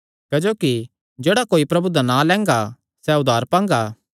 क्जोकि जेह्ड़ा कोई प्रभु दा नां लैंगा सैह़ उद्धार पांगा